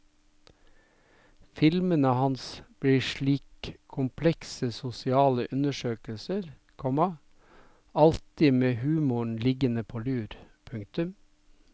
Filmene hans blir slik komplekse sosiale undersøkelser, komma alltid med humoren liggende på lur. punktum